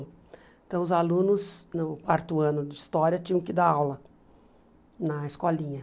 Então os alunos, no quarto ano de história, tinham que dar aula na escolinha.